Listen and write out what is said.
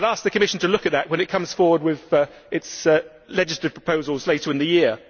I would ask the Commission to look at that when it comes forward with its legislative proposals later in the year.